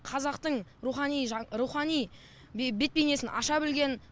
қазақтың рухани рухани бет бейнесін аша білген